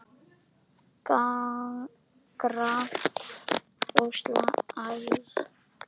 Grannt og æsandi.